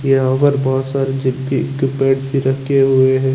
यहाँ अगर बहोत सारे जगी के पेंस भी रखे हुए है।